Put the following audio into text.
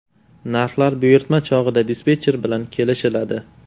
Narxlar buyurtma chog‘ida dispetcher bilan kelishiladi.